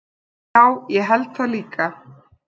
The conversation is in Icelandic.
Já, ég held það líka.